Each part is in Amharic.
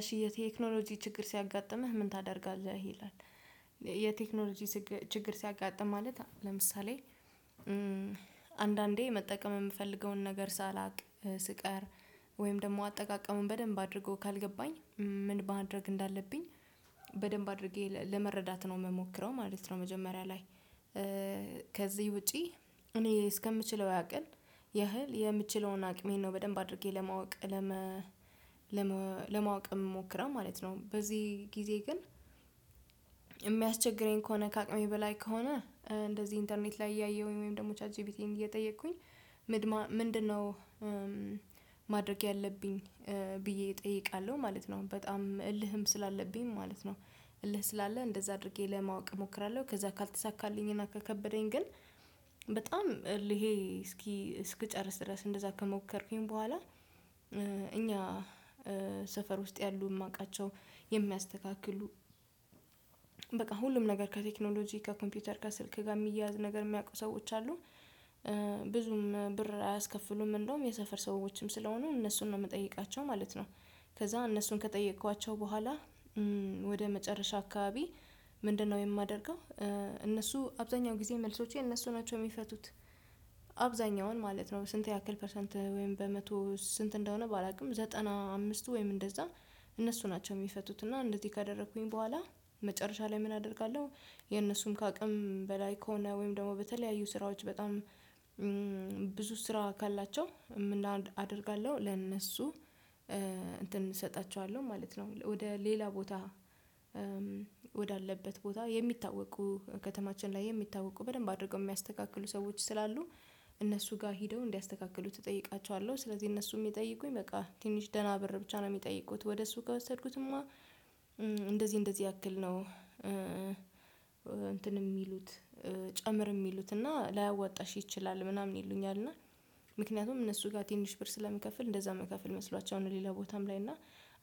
እሺ የቴክኖሎጂ ችግር ሲያጋጥምህ ምን ታደርጋለህ ይላል? የቴክኖሎጂ ችግር ሲያጋጥም ማለት ለምሳሌ መጠቀም የምፈልገውን ነገር ሳላውቅ ስቀር ወይም ደግሞ አጠቃቀሙን በደንብ አድርጎ ካልገባኝ ምን ማድረግ እንዳለብኝ በደንብ አድርጌ ለመረዳት ነው የምሞክረው ማለት ነው። መጀመሪያ ላይ ከዚህ ውጪ እኔ እስከምችለው ያቅክል ያህል የምችለውን አቅሜን ነው በደንብ አድርጌ ለማወቅ ለመ ምሞከረው ማለት ነው። በዚህ ጊዜ ግን የሚያስቸግረኝ ከሆነ ከአቅሜ በላይ ከሆነ እንደዚህ ኢንተርኔት ላይ እያየሁኝ ወይም ደግሞ ቻት ጂቢቲን እየጠየቅኩኝ ምንድነው ማድረግ ያለብኝ ብዬ እጠይቃለሁ ማለት ነው በጣም እልህም ስላለብኝ ማለት ነው። እልህ ስላለ እንደዛ አድርጌ ለማወቅ እሞክራለሁ ከዛ ካልተሳካልኝ እና ከከበደኝ ግን በጣም እልሄ እስኪ እስክ ጨርስ ድረስ እንደዛ ከሞከርኩኝ በኋላ እኛ ሰፈር ውስጥ ያሉ የማውቃቸው የሚያስተካክሉ በቃ ሁሉም ነገር ከቴክኖሎጂ ከኮምፒውተር ከስልክ ጋር የሚያያዝ ነገር የሚያውቁ ሰዎች አሉ። ብዙም ብር አያስከፍሉም እንደውም የሰፈር ሰዎችም ስለሆኑ እነሱን ነው የምጠይቃቸው ማለት ነው። ከዛ እነሱን ከጠየቅኳቸው በኋላ ወደ መጨረሻ አካባቢ ምንድነው የማደርገው? እነሱ አብዛኛው ጊዜ መልሶቼ እነሱ ናቸው የሚፈቱት አብዛኛውን ማለት ነው። ስንት ያክል ፐርሰንት ወይም በመቶ ስንት እንደሆነ? ባላውቅም ዘጠና አምስቱ ወይም እንደዛ እነሱ ናቸው የሚፈቱት። እና እንደዚህ ካደረኩኝ በኋላ መጨረሻ ላይ ምን አደርጋለሁ? የነሱም ከአቅም በላይ ከሆነ ወይም ደግሞ በተለያዩ ስራዎች በጣም ብዙ ስራ ካላቸው ምን አደርጋለሁ? ለነሱ እንትን ማለት ነው ወደ ሌላ ቦታ ወዳለበት ቦታ የሚታወቁ ከተማችን ላይ የሚታወቁ በደንብ አድርገው የሚያስተካክሉ ሰዎች ስላሉ እነሱ ጋር ሄደው እንዲያስተካክሉት እጠይቃቸዋለሁ። ስለዚህ እነሱም የሚጠይቁኝ በቃ ትንሽ ደህና ብር ብቻ ነው የሚጠይቁት ወደ እሱ ጋር ወሰድኩትማ እንደዚህ እንደዚህ ያክል ነው። እንትን የሚሉት ጨምር የሚሉት እና ላያዋጣሽ ይችላል ምናምን ይሉኛል። እና ምክንያቱም እነሱ ጋር ትንሽ ብር ስለሚከፍል እንደዛ መከፍል መስሏቸውን ሌላ ቦታም ላይ እና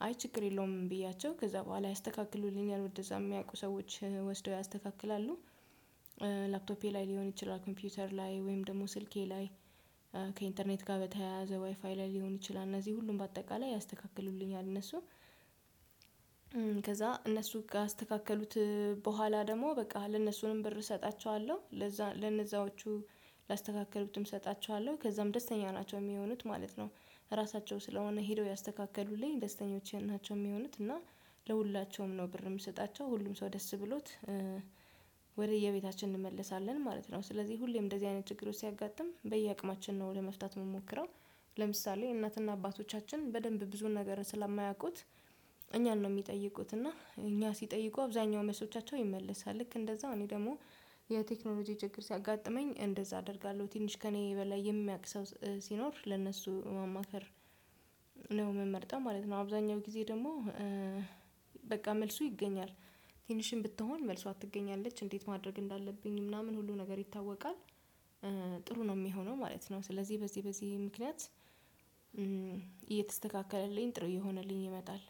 አይ ችግር የለውም ብያቸው ከዛ በኋላ ያስተካክሉልኛል ወደዛ የሚያውቁ ሰዎች ወስደው ያስተካክላሉ። ላፕቶፔ ላይ ሊሆን ይችላል ኮምፒውተር ላይ ወይም ደግሞ ስልኬ ላይ ከኢንተርኔት ጋር በተያያዘ ዋይፋይ ላይ ሊሆን ይችላል እነዚህ ሁሉም በአጠቃላይ ያስተካክሉልኛል። እነሱ ከዛ እነሱ ካስተካከሉት በኋላ ደግሞ በቃ ለነሱንም ብር እሰጣቸዋለሁ ለነዛዎቹ ላስተካከሉትም እሰጣቸዋለሁ ከዛም ደስተኛ ናቸው የሚሆኑት ማለት ነው። ራሳቸው ስለሆነ ሄደው ያስተካክሉልኝ ደስተኞች ናቸው የሚሆኑት እና ለሁላቸውም ነው ብር የምሰጣቸው ሁሉም ሰው ደስ ብሎት ወደየቤታችን እንመለሳለን ማለት ነው። ስለዚህ ሁሌም እንደዚህ አይነት ችግሮች ሲያጋጥም በየአቅማችን ነው ለመፍታት የምሞክረው። ለምሳሌ እናትና አባቶቻችን በደንብ ብዙ ነገር ስለማያውቁት እኛን ነው የሚጠይቁት እና እኛ ሲጠይቁ አብዛኛው መልሶቻቸው ይመልሳል ልክ እንደዛው እኔ ደግሞ የቴክኖሎጂ ችግር ሲያጋጥመኝ እንደዛ አደርጋለሁ ትንሽ ከእኔ በላይ የሚያውቅ ሰው ሲኖር ለእነሱ ማማከር የምመርጠው ማለት ነው። አብዛኛው ጊዜ ደግሞ በቃ መልሱ ይገኛል። ትንሽም ብትሆን መልሷ ትገኛለች እንዴት ማድረግ እንዳለብኝ ምናምን ሁሉ ነገር ይታወቃል። ጥሩ ነው የሚሆነው ማለት ነው። ስለዚህ በዚህ በዚህ ምክንያት እየተስተካከለልኝ ጥሩ የሆነልኝ ይመጣል